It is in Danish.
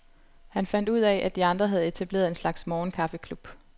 Han fandt han ud af, at de andre havde etableret en slags morgenkaffeklub.